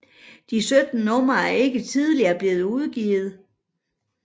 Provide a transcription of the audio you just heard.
De 17 numre er ikke tidligere blevet udgivet